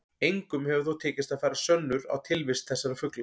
Engum hefur þó tekist að færa sönnur á tilvist þessara fugla.